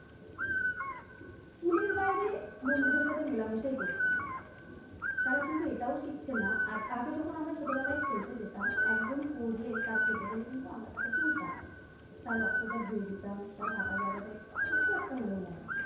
বন্ধুদের সাথে মেলামেশাই করছে না তারা কিন্তু এটাও শিখছে না, আর আগে যখন আমরা ছোটবেলায় ফেলতে যেতাম একজন করলে তার কেটে গেলে কিন্তু আমরা তাকে তুলতাম। তার রক্তটা ধুয়ে দিতাম তার কাটা জায়গাটা কিছু একটা হলেও লাগিয়ে দিতাম।